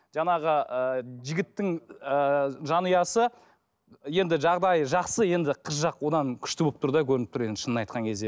жаңағы ыыы жігіттің ыыы жанұясы енді жағдайы жақсы енді қыз жақ одан күшті болып тұр да көрініп тұр енді шынын айтқан кезде